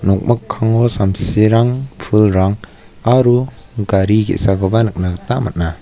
nokmikkango samsirang pulrang aro gari ge·sakoba nikna gita man·a.